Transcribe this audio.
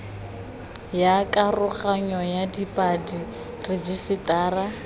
ya karoganyo ya dipalo rejisetara